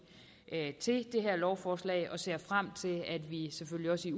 til det her lovforslag og ser frem til at vi selvfølgelig